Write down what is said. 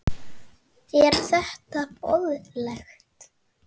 Er þetta boðlegt?